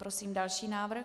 Prosím další návrh.